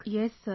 Yes sir